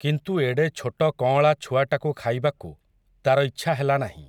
କିନ୍ତୁ ଏଡ଼େ ଛୋଟ କଅଁଳା ଛୁଆଟାକୁ ଖାଇବାକୁ, ତା'ର ଇଚ୍ଛା ହେଲା ନାହିଁ ।